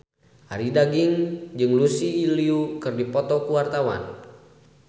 Arie Daginks jeung Lucy Liu keur dipoto ku wartawan